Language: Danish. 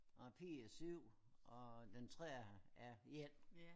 Og Pi er 7 og den tredje er 1